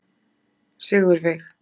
Sigurveig